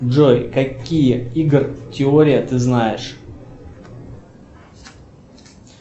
джой какие игр теория ты знаешь